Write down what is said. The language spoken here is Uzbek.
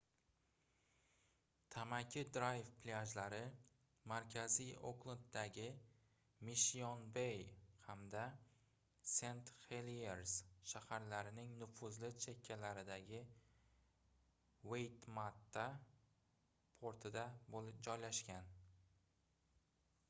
tamaki drayv plyajlari markaziy oklenddagi mishshion-bey hamda sent-heliers shaharlarining nufuzli chekkalaridagi waitemata portida joylashgan